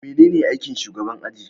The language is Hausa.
Manene aikin shugaban aji?